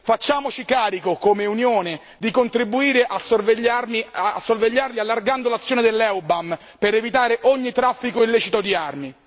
Facciamoci carico, come Unione, di contribuire a sorvegliarli allargando l'azione dell'EUBAM per evitare ogni traffico illecito di armi.